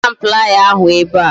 Wetaram playa ahu ebe a